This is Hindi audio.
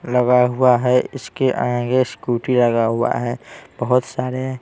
लगा हुआ हैं इसके आगे स्कूटी लगा हुआ हैं बहुत सारे--